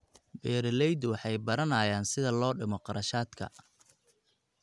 Beeraleydu waxay baranayaan sida loo dhimo kharashaadka.